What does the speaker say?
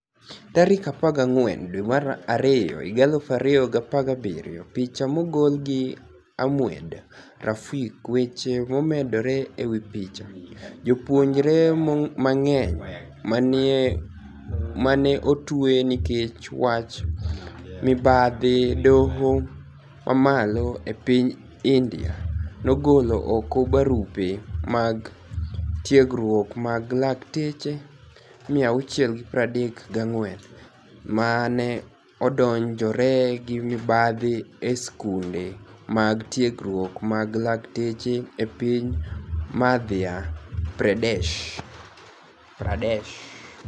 14 Februar 2017 Picha mogol gi A Moeed Faruqui Weche momedore e wi picha, Jopuonijre manig'eniy ma ni e otwe niikech wach mibadhi dohoMamalo e piniy Inidia nogolo oko barupe mag tiegruok mag lakteche 634 ma ni e odonijore gi mibadhi e skunide mag tiegruok mag lakteche e piniy Madhya Pradesh.